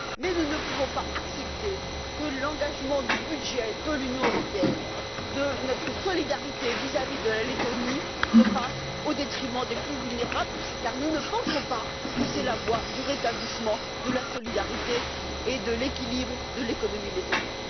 Mais nous ne pouvons pas accepter que l'engagement du budget de l'Union européenne, de notre solidarité vis à vis de la Lettonie se fasse au détriment des plus vulnérables car nous ne pensons pas que c'est la voie du rétablissement de la solidarité et de l'équilibre de l'économie lettone.